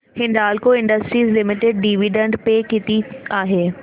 Hindalco industries limited dividend pay किती आहे